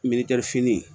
merikɛrifini